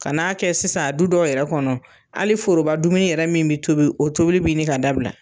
Ka n'a kɛ sisan a du dɔw yɛrɛ kɔnɔ , hali foroba dumuni yɛrɛ min be tobi , o tobili bi ɲini ka dabila.